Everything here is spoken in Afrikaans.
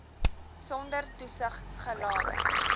sonder toesig gelaat